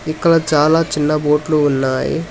ఇక్కడ చాలా చిన్న బోట్లు ఉన్నాయి.